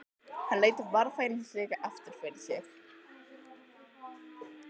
Hann leit varfærnislega aftur fyrir sig.